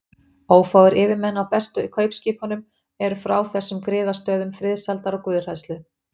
Ófáir yfirmenn á bestu kaupskipunum eru frá þessum griðastöðum friðsældar og guðhræðslu.